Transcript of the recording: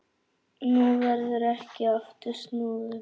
Nú verður ekki aftur snúið.